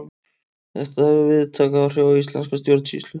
Þetta hefur víðtæk áhrif á íslenska stjórnsýslu.